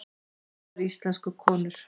Þessar íslensku konur!